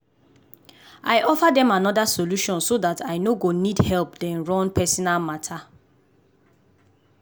i offer dem another solution so dat i no go need help dem run personal matter.